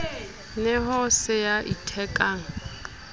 ne ho se ya ithekang